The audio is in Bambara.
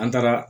An taara